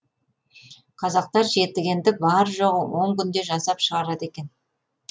қазақтар жетігенді бар жоғы он күнде жасап шығарады екен